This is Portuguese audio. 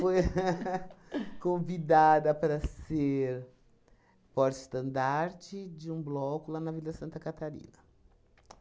Foi convidada para ser porte-estandarte de um bloco lá na Vila Santa Catarina.